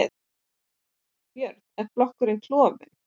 Björn: Er flokkurinn klofin?